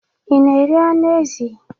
Ị na-eri anụ ezi?